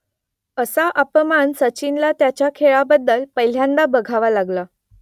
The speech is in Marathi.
असा अपमान सचिनला त्याच्या खेळाबद्दल पहिल्यांदा बघावा लागला